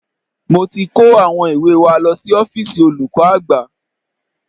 Mo ti kó àwọn ìwé wa lọ sí ọ́fíìsì olùkọ́ àgbà